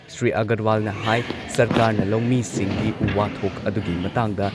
ꯁ꯭ꯔꯤ ꯑꯒꯔꯋꯥꯜꯅ ꯍꯥꯏ ꯁꯔꯀꯥꯔꯅ ꯂꯧꯃꯤꯁꯤꯡꯒꯤ ꯋꯥꯊꯣꯛ ꯑꯗꯨꯒꯤ ꯃꯇꯥꯡꯗ